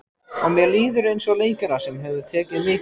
Og mér líður eins og leikara sem hefur tekið mikil